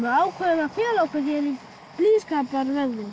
ákváðum að fela okkur hér í blíðskaparveðri